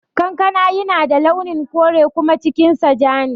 Kankana yana da launin kore kuma cikin sa ja ne